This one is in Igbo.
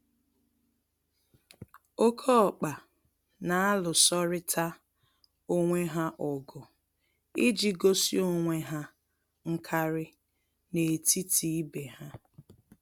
Oké ọkpa n'alụsorịta onwe ha ọgụ iji gosi onwe ha nkarị n'etiti ibe ha.